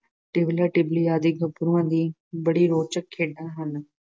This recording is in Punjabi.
ਟਿਬਲਾ- ਟਿਬਲੀ ਆਦਿ ਗੱਭਰੂਆਂ ਦੀ ਬੜੀ ਰੋਚਕ ਖੇਡਾਂ ਹਨ।